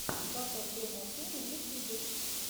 батл дома ту на ютубе